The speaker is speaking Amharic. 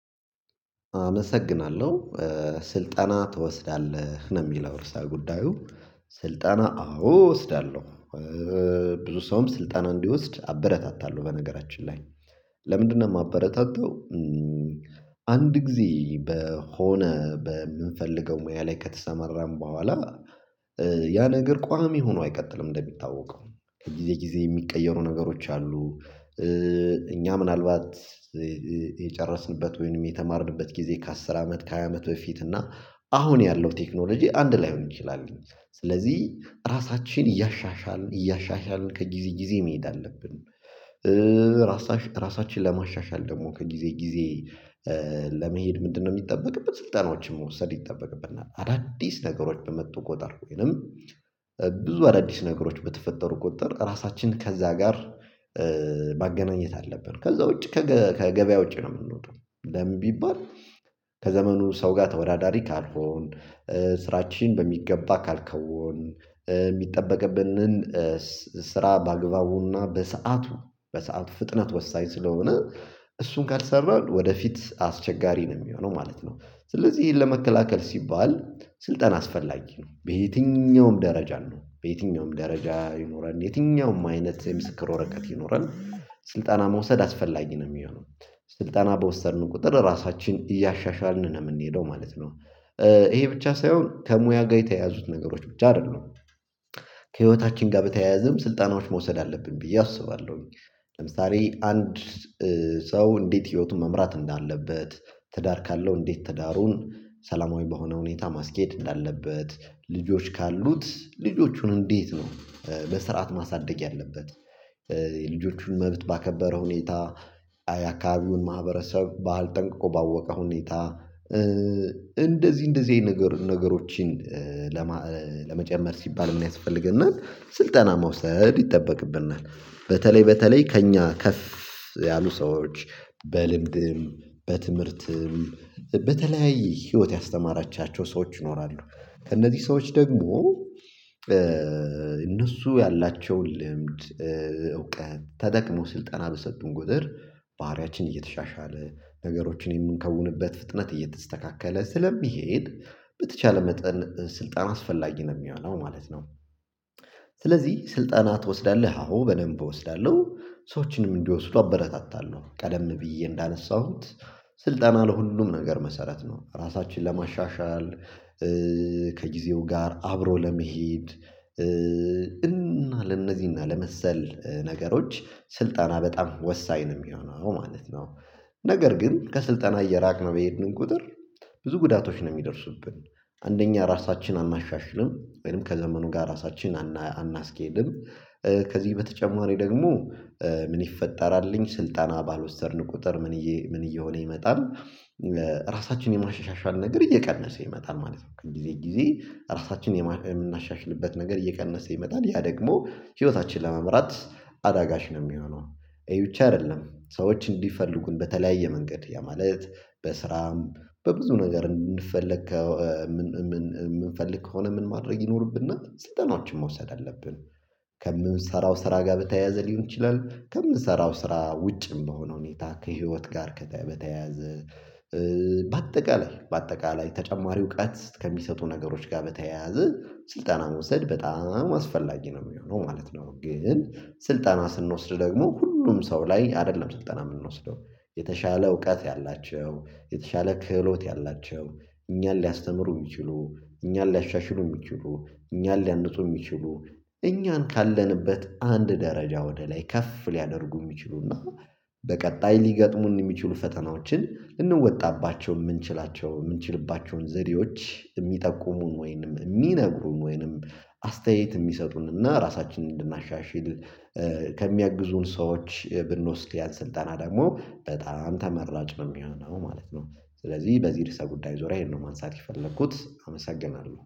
አመሰግናለሁ ስልጠና ትወስዳለህ ነው የሚለው እርሳ ጉዳዩ? ስልጠና አዎ እወስዳለሁ። ብዙ ሰውም ስልጣና እንዲወስድ አበረታታለሁ በነገራችን ላይ ለምንድነው የማበረታተው? አንድ ጊዜ በሆነ በምንፈልገው ሙያ ላይ ከተሰመራን በኋላ ያ ነገር ቋሚ ሆኖ አይቀጥልም እንደሚታወቀው ከጊዜ ጊዜ የሚቀየሩ ነገሮች አሉ። እኛ ምናልባት የጨረስንበት ወይንም የተማርንበት ጊዜ ከአስር አመት ከሃያ አመት በፊት እና አሁን ያለው ቴክኖሎጂ አንድ ላይሆን ይችላል። ስለዚህ ራሳችን እያሻሻልን እያሻሻልን ከጊዜ ጊዜ መሄድ አለብን። ራሳችን ራሳችን ለማሻሻል ደግሞ ከጊዜ ጊዜ? ለመሄድ ምንድነው የሚጠበቅበት ስልጣኖችን መውሰድ ይጠበቅብናል። አዳዲስ ነገሮች በመጡ ቁጥር ወይንም ብዙ አዳዲስ ነገሮች በተፈጠሩ ቁጥር ራሳችን ከዛ ጋር ማገናኘት አለብን። ከዛ ውጪ ከገበያ ውጪ ነው የምንወጣው። ለምን ቢባል? ከዘመኑ ሰው ጋር ተወዳዳሪ ካልሆን። ስራችን በሚገባ ካልከውን የሚጠበቅብንን ስራ በአግባቡና በሰአቱ በሰአቱ ፍጥነት ወሳኝ ስለሆነ። እሱን ካልሰራህ ወደፊት አስቸጋሪ ነው የሚሆነው ማለት ነው። ስለዚህ ይሄን ለመከላከል ሲባል ስልጠና አስፈላጊ ነው። በየትኛውም ደረጃ ነው በየትኛውም ደረጃ ይኖረን የትኛውም አይነት የምስክር ወረቀት ይኖረን። ስልጠና መውሰድ አስፈላጊ ነው የሚሆነው። ስልጠና በወሰድን ቁጥር ራሳችን እያሻሻልን ነው የምንሄደው ማለት ነው። ይሄ ብቻ ሳይሆን ከሙያ ጋር የተያዙት ነገሮች ብቻ አይደሉም። ከህይወታችን ጋር በተያያዘም ስልጣኖች መውሰድ አለብን ብዬ አስባለሁኝ። ለምሳሌ አንድ ሰው እንዴት ህይወቱን መምራት እንዳለበት ትዳር ካለው እንዴት ትዳሩን ሰላማዊ በሆነ ሁኔታ ማስኬድ እንዳለበት ልጆች ካሉት ልጆቹን እንዴት ነው በስርዓት ማሳደግ ያለበት። የልጆቹን መብት ባከበረ ሁኔታ የአካባቢውን ማህበረሰብ ባልጠንቅቆ ባወቀ ሁኔታ እንደዚህ እንደዚህ አይነት ነገሮችን። ለመጨመር ሲባል የሚያስፈልግና ስልጠና መውሰድ ይጠበቅብናል። በተለይ በተለይ ከእኛ ከፍ ያሉ ሰዎች በልምድም በትምህርትም በተለያዩ ህይወት ያስተማራቻቸው ሰዎች ይኖራሉ። ከእነዚህ ሰዎች ደግሞ እነሱ ያላቸውን ልምድ እውቀት ተጠቅሞ ስልጠና በሰጡን ጉድር። ባህሪያችን እየተሻሻለ ነገሮችን የምንከውንበት ፍጥነት እየተስተካከለ ስለሚሄድ በተቻለ መጠን ስልጣን አስፈላጊ ነው የሚሆነው ማለት ነው። ስለዚህ ስልጣና ትወስዳለህ አሁን በደንብ እወስዳለሁ። ሰዎችንም እንዲወስዱ አበረታታለሁ ቀደም ብዬ እንዳነሳሁት ስልጠና ለሁሉም ነገር መሰረት ነው ራሳችንን ለማሻሻል። ከጊዜው ጋር አብሮ ለመሄድ እና ለእነዚህና እና ለመሰል ነገሮች ስልጠና በጣም ወሳኝ ነው የሚሆነው ነው ማለት ነው። ነገር ግን ከስልጠና እየራቅን በሄድን ቁጥር ብዙ ጉዳቶች ነው የሚደርሱብን። አንደኛ ራሳችንን አናሻሽልም። ወይም ከዘመኑ ጋር ራሳችንን አናስኬድም። ከዚህ በተጨማሪ ደግሞ ምን ይፈጠራልኝ ስልጣና ባልወሰድን ቁጥር ምን እየሆነ ይመጣል? ራሳችንን የማሻሻል ነገር እየቀነሰ ይመጣል ማለት ነው። ከጊዜ ጊዜ ራሳችንን የምናሻሽልበት ነገር እየቀነሰ ይመጣል። ያ ደግሞ ህይወታችን ለመምራት አዳጋሽ ነው የሚሆነው። እዩቼ አይደለም ሰዎች እንዲፈልጉን በተለያየ መንገድ የማለት በስራም በብዙ ነገር እንድንፈልግ የምንፈልግ ከሆነ ምን ማድረግ ይኖርብና ስልጠናዎችን መውሰድ አለብን። ከምንሰራው ስራ ጋር በተያያዘ ሊሆን ይችላል ከምንሰራው ስራ ውጭም በሆነ ሁኔታ ከህይወት ጋር በተያያዘ በአጠቃላይ በአጠቃላይ ተጨማሪ እውቀት ከሚሰጡ ነገሮች ጋር በተያያዘ ስልጠና መውሰድ በጣም አስፈላጊ ነው የሚሆነው ማለት ነው። ግን ስልጠና ስንወስድ ደግሞ ሁሉም ሰው ላይ አይደለም ስልጣና የምንወስደው። የተሻለ እውቀት ያላቸው የተሻለ ክህሎት ያላቸው እኛን ሊያስተምሩ የሚችሉ እኛን ሊያሻሽሉ የሚችሉ እኛን ሊያነጹ የሚችሉ እኛን ካለንበት አንድ ደረጃ ወደ ላይ ከፍ ሊያደርጉ የሚችሉና በቀጣይ ሊገጥሙን የሚችሉ ፈተናዎችን ልንወጣባቸው የምንችላቸው የምንችሉባቸውን ዘዴዎች የሚጠቁሙን ወይንም የሚነግሩን ወይንም አስተያየት የሚሰጡንና ራሳችንን እንድናሻሽል ከሚያግዙን ሰዎች ብንወስድ ያን ስልጠና ደግሞ በጣም ተመራጭ ነው የሚሆነው ማለት ነው። ስለዚህ በዚህ ርዕሰ ጉዳይ ዞራ ይሄን ነው ማንሳት የፈለኩት አመሰግናለሁ